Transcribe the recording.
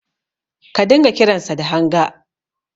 Ka dinga kiransa da Hanga.